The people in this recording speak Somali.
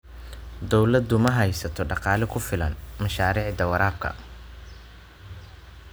Dawladdu ma haysato dhaqaale ku filan mashaariicda waraabka.